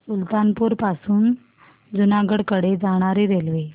सुल्तानपुर पासून जुनागढ कडे जाणारी रेल्वे